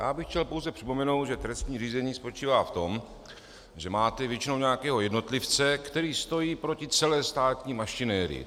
Já bych chtěl pouze připomenout, že trestní řízení spočívá v tom, že máte většinou nějakého jednotlivce, který stojí proti celé státní mašinérii.